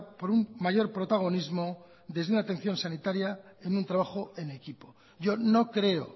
por un mayor protagonismo desde una atención sanitaria en un trabajo en equipo yo no creo